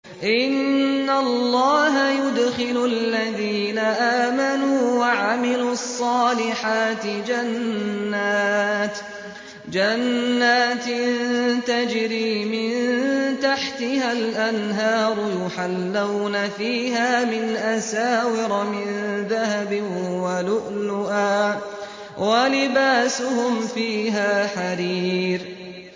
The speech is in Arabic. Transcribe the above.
إِنَّ اللَّهَ يُدْخِلُ الَّذِينَ آمَنُوا وَعَمِلُوا الصَّالِحَاتِ جَنَّاتٍ تَجْرِي مِن تَحْتِهَا الْأَنْهَارُ يُحَلَّوْنَ فِيهَا مِنْ أَسَاوِرَ مِن ذَهَبٍ وَلُؤْلُؤًا ۖ وَلِبَاسُهُمْ فِيهَا حَرِيرٌ